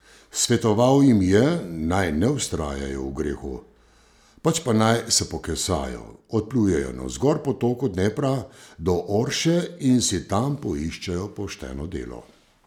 Svetoval jim je, naj ne vztrajajo v grehu, pač pa naj se pokesajo, odplujejo navzgor po toku Dnepra do Orše in si tam poiščejo pošteno delo.